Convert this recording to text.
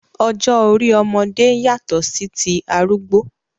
Ọjọ́ orí ọmọdé yàtọ̀ sí ti arúgbó.